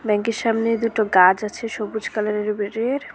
ব্যাংকের সামনে দুটো গাছ আছে সবুজ কালারের --